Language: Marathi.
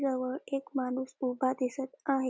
जवळ एक माणूस उभा दिसत आहे.